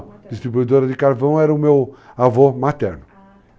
distribuidora de carvão era o meu avô materno. Ah.